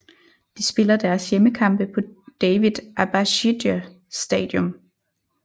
De spiller deres hjemmekampe på David Abashidze Stadium